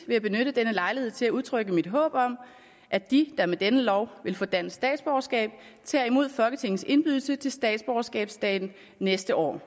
jeg benytte denne lejlighed til at udtrykke mit håb om at de der med denne lov vil få dansk statsborgerskab tager imod folketingets indbydelse til statsborgerskabsdagen næste år